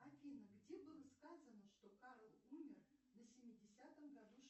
афина где было сказано что карл умер на семидесятом году жизни